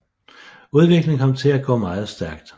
Udviklingen kom til at gå meget stærkt